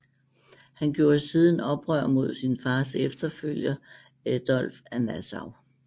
Han gjorde siden oprør mod sin fars efterfølger Adolf af Nassau